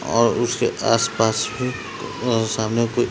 और उसके आसपास में उह सामने कोई --